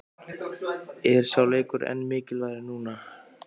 Er sá leikur enn mikilvægari núna?